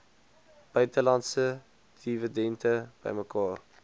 buitelandse dividende bymekaar